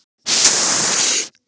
Sigga, hvað er jörðin stór?